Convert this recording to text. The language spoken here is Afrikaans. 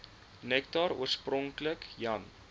nektar oorspronklik jan